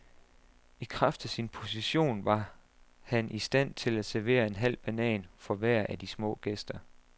I kraft af sin position var han stand til at servere en halv banan for hver af de små gæster.